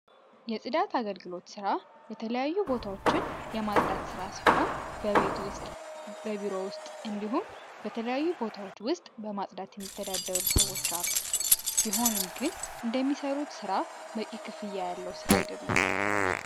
የጽዳት አገልግሎት ስራ የተለያዩ ቦታዎችን የማጽዳት ስራ ሲሆን በቤት ውስጥ በቢሮ ውስጥ እንዲሁም በተለያዩ ቦታዎች ውስጥ በማጽዳት የሚተዳደሩ ሰዎች አሉ ቢሆንም ግን እንደሚሰሩት ራ በቂ ክፍያ ያለው ስራ አይደለም